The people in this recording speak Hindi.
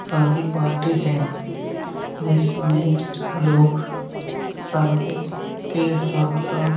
साथ ही पार्टी है। जिसमें लोग साथ ही साथ-साथ --